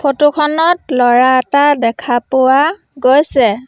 Photo খনত ল'ৰা এটা দেখা পোৱা গৈছে।